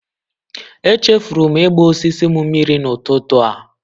Echefuru m ịgba osisi m mmiri n'ụtụtụ a.